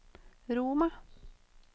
Roma